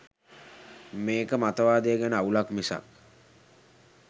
මේක මතවාදය ගැන අවුලක් මිසක්